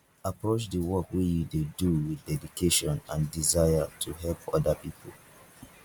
approach di work wey you dey do with dedication and desire to help oda pipo